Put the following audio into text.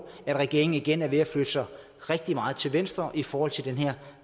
at regeringen igen er ved at flytte sig rigtig meget til venstre i forhold til den her